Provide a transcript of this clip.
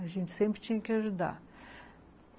A gente sempre tinha que ajudar.